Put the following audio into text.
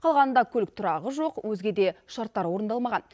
қалғанында көлік тұрағы жоқ өзге де шарттар орындалмаған